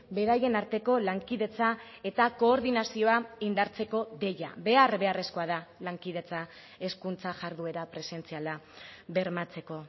beraien arteko lankidetza eta koordinazioa indartzeko deia behar beharrezkoa da lankidetza hezkuntza jarduera presentziala bermatzeko